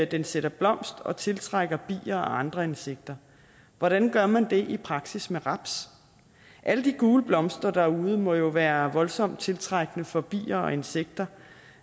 den sætter blomst og tiltrækker bier og andre insekter hvordan gør man det i praksis med raps alle de gule blomster derude må jo være voldsomt tiltrækkende for bier og insekter